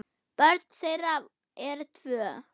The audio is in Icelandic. Börn þeirra eru tvö.